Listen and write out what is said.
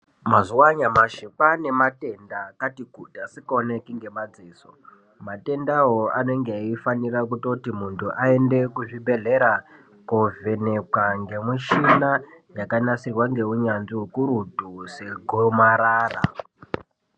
Mazuva nyamashi kwane mandenda akati kuti asikaonekwi ngemaziso. Mandenda iwayo anenge achifanira kutoti muntu aende kuzvibhedhlera kovhenekewa ngemuchina yakanasirwa ngeunazvi hukurutu segomarara.